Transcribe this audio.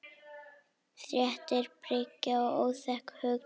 Þétting byggðar var óþekkt hugtak.